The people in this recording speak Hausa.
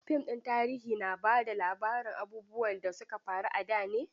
Fim ɗin tarihi na ba da labarin abubuwan da su ka faru a da ne.